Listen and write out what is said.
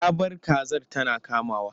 Ya bar kazar tana kamawa ko?